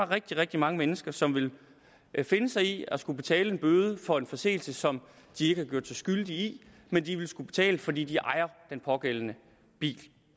rigtig rigtig mange mennesker som ville finde sig i at skulle betale en bøde for en forseelse som de ikke har gjort sig skyldige i men de vil skulle betale fordi de ejer den pågældende bil